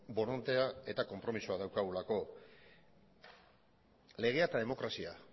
borondatea eta konpromisoa daukagulako legea eta